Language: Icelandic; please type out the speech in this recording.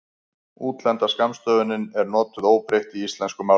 útlenda skammstöfunin er notuð óbreytt í íslensku máli